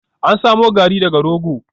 An samo Garri daga rogo